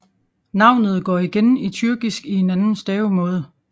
Navnet går igen i tyrkisk i en anden stavemåde